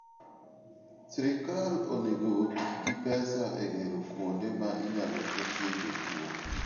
Sirkal onego oti gi pesa e gero kuonde ma inyalo ketye jotuwo.